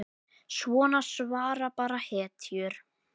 Svona svara bara hetjur.